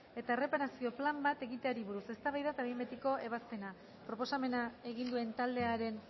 eta erreparazio plan bat egiteari buruz eztabaida eta behin betiko ebazpena proposamena egin duen taldearen